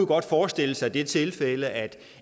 godt forestille sig det tilfælde at